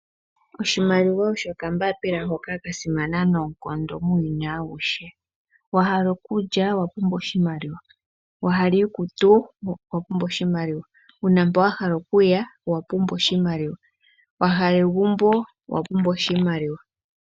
Oshimaliwa osho okambaapila hoka kasimana noonkondo muuyuni auhe. Ngele owa hala okulya nena owapumbwa oshimaliwa , wa hala iikutu owa pumbwa oshimaliwa , uuna mpo wa hala okuya owa pumbwa oshimaliwa , wa hala egumbo owa pumbwa oshimaliwa.